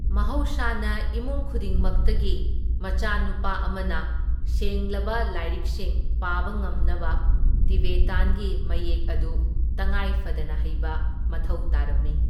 ꯃꯍꯧꯁꯥꯅ ꯏꯃꯨꯡ ꯈꯨꯗꯤꯡꯃꯛꯇꯒꯤ ꯃꯆꯥꯅꯨꯄꯥ ꯑꯃꯅ ꯁꯦꯡꯂꯕ ꯂꯥꯏꯔꯤꯛꯁꯤꯡ ꯄꯥꯕ ꯉꯝꯅꯕ ꯇꯤꯕꯦꯇꯥꯟꯒꯤ ꯃꯌꯦꯛ ꯑꯗꯨ ꯇꯉꯥꯏ ꯐꯗꯅ ꯍꯩꯕ ꯃꯊꯧ ꯇꯥꯔꯝꯃꯤ꯫